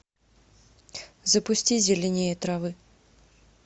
запусти зеленее травы